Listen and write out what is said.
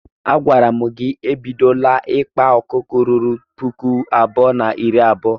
A gwara m gi na gị ebidola ikpa ọkụkọ ruru puku abụọ na iri abuo.